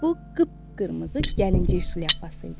Bu qıp-qırmızı gəlinci şlyapası idi.